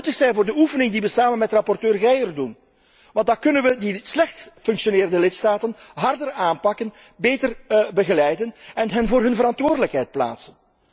Dat zou nuttig zijn voor de oefening die we samen met rapporteur Geier doen, want dan kunnen we de slecht functionerende lidstaten harder aanpakken, beter begeleiden en hen voor hun verantwoordelijkheid plaatsen.